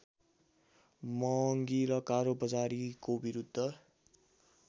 महङ्गी र कालोबजारीको विरूद्ध